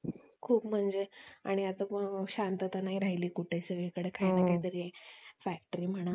खूप म्हणजे आणि आता शांतता नाही राहिली कुठे सगळीकडे काही ना काही तरी Factory म्हणा